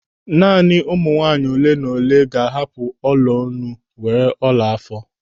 Naanị ụmụ nwaanyị ole na ole ga-ahapụ iheolu were ọla àfọ̀.